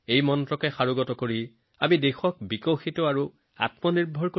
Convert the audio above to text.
এই মন্ত্ৰ অনুসৰণ কৰি আমি ভাৰতীয়ই আমাৰ দেশক উন্নয়নৰ পথত লৈ যাম স্বাৱলম্বী কৰিম